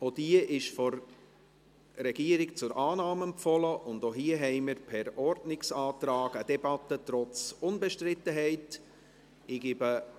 Auch diese ist von der Regierung zur Annahme empfohlen, und auch hier haben wir per Ordnungsantrag eine Debatte trotz Unbestrittenheit beschlossen.